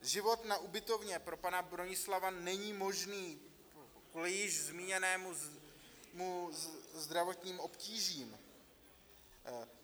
Život na ubytovně pro pana Bronislava není možný kvůli již zmíněným zdravotním obtížím.